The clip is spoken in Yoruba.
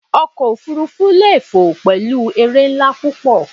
Ọkọ̀ òfuurufú lè fò pẹ̀lú eré ńlá púpọ̀.